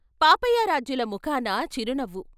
పాపయారాధ్యుల ముఖాన చిరునవ్వు.